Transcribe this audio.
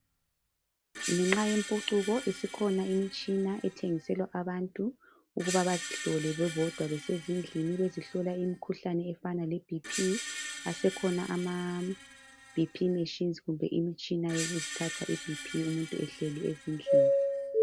Ngenxa yokuthi isikhona imitshina ethengiselwa abantu ukuba bazihlole bebodwa besezindlini, bezihlola imikhuhlane efana le Bhi Phi. Asekhona ama Bhi Phi meshinzi, kumbe imitshina yokuzithatha iBhi Phi umuntu ehleli endlini.